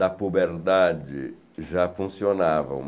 da puberdade já funcionavam.